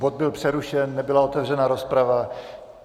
Bod byl přerušen, nebyla otevřena rozprava.